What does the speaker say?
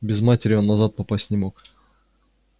без матери он назад попасть не мог